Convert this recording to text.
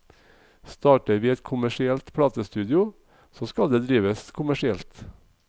Starter vi et kommersielt platestudio, så skal det drives kommersielt.